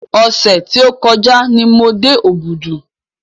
Ọ̀sẹ̀ tí ó kọjá ni mo dé Òbùdù.